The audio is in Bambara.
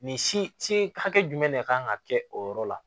Nin si hakɛ jumɛn de kan ka kɛ o yɔrɔ la